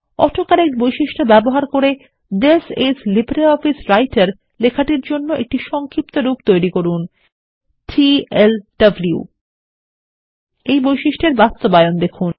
auto কারেক্টবৈশিষ্ট্য ব্যবহার করে থিস আইএস লিব্রিঅফিস রাইটের লেখার জন্য একটি সংক্ষিপ্তরূপ তৈরি করুন টিএলডব্লু এর বাস্তবায়ন দেখুন